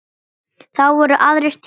Þá voru aðrir tímar.